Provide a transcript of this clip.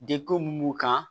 Dekun min b'u kan